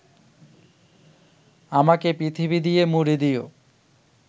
আমাকে পৃথিবী দিয়ে মুড়ে দিও